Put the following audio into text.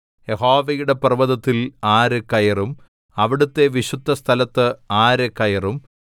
യഹോവയുടെ പർവ്വതത്തിൽ ആര് കയറും അവിടുത്തെ വിശുദ്ധസ്ഥലത്ത് ആര് കയറും